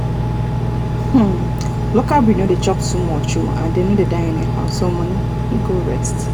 local breed no dey chop too much and dem no dey die anyhow so money go rest.